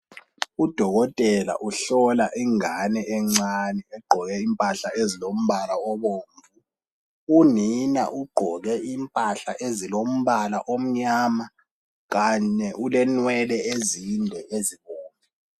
Udokotela uhlola ingane encane egqoke impahla ezilombala obomvu . Unina ugqoke impahla ezilombala omnyama kanye ulenwele ezinde ezibomvu